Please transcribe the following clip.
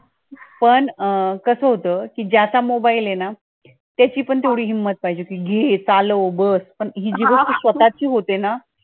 पण कसं होतं ज्याचा mobile ए ना, त्याची पण थोडी हिम्मत पाहिजे कि घे चालव बस पण हि जी वस्तू स्वतःची होते ना